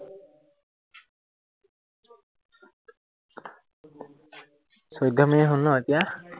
চৈধ্য় মিনিট হল ন এতিয়া?